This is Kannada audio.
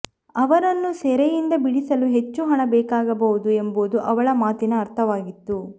ಅವರನ್ನು ಸೆರೆಯಿಂದ ಬಿಡಿಸಲು ಹೆಚ್ಚು ಹಣ ಬೇಕಾಗಬಹುದು ಎಂಬುದು ಅವಳ ಮಾತಿನ ಅರ್ಥವಾಗಿತ್ತು